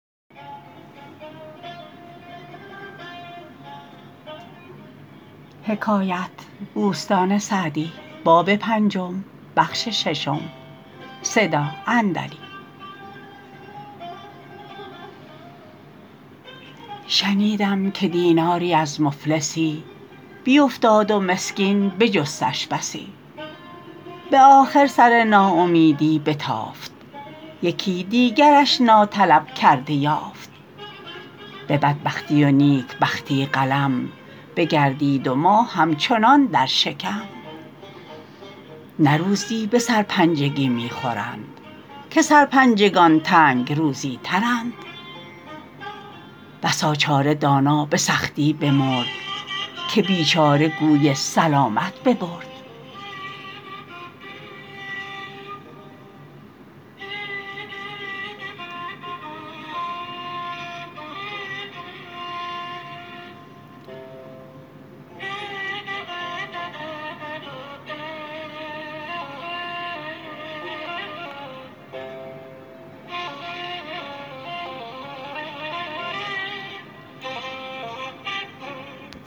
شنیدم که دیناری از مفلسی بیفتاد و مسکین بجستش بسی به آخر سر ناامیدی بتافت یکی دیگرش ناطلب کرده یافت به بدبختی و نیکبختی قلم بگردید و ما همچنان در شکم نه روزی به سرپنجگی می خورند که سرپنجگان تنگ روزی ترند بسا چاره دانا به سختی بمرد که بیچاره گوی سلامت ببرد